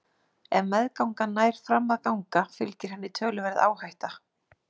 Ef meðgangan nær fram að ganga fylgir henni töluverð áhætta.